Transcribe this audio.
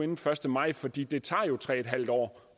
den første maj fordi det tager tre en halv år